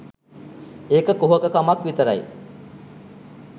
ඒක කුහක කමක් විතරයි